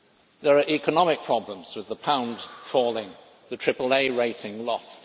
There are economic problems, with the pound falling and the AAA rating lost.